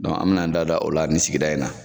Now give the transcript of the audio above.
an bɛ n'an da don o la ni sigida in na.